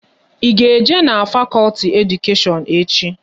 Ị ga-eje n'fakolti Edukashion echi?